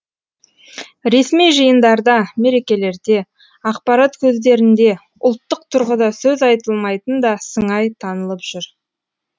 ресми жиындарда мерекелерде ақпарат көздерінде ұлттық тұрғыда сөз айтылмайтын да сыңай танылып жүр